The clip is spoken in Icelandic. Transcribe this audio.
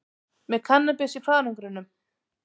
Með kannabis í farangrinum